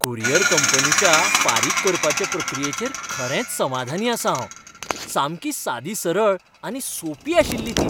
Courier कंपनीच्या फारीक करपाचे प्रक्रियेचेर खरेंच समाधानी आसां हांव. सामकी सादीसरळ आनी सोंपी आशिल्ली ती.